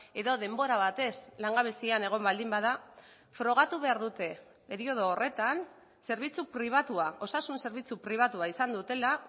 edo denbora batez langabezian egon baldin bada frogatu behar dute periodo horretan zerbitzu pribatua osasun zerbitzu pribatua izan dutela